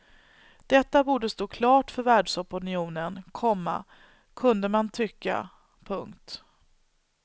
Detta borde stå klart för världsopinionen, komma kunde man tycka. punkt